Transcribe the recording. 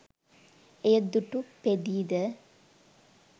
එය දුටු පෙඳී ද